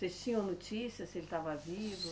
Vocês tinham notícias se ele estava vivo?